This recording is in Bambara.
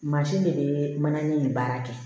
Mansin de bɛ mana ni baara kɛ